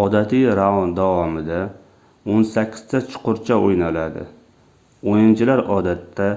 odatiy raund davomida oʻn sakkizta chuqurcha oʻynaladi oʻyinchilar odatda